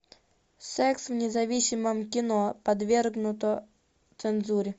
секс в независимом кино подвергнуто цензуре